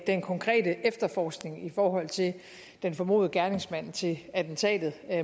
den konkrete efterforskning i forhold til den formodede gerningsmand til attentatet